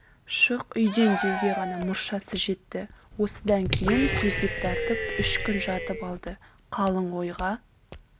шық үйден деуге ғана мұршасы жетті осыдан кейін төсек тартып үш күн жатып алды қалың ойға